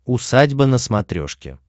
усадьба на смотрешке